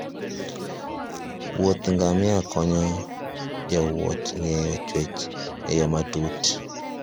Wuoth ngamia konyo jowuoth ng'eyo chwech e yo matut.